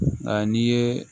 Nka n'i ye